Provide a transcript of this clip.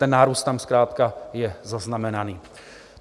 Ten nárůst tam zkrátka je zaznamenaný.